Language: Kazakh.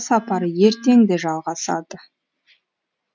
сапары ертең де жалғасады